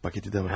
Paketi də var.